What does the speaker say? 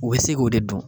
U bɛ se k'o de dun